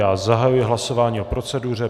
Já zahajuji hlasování o proceduře.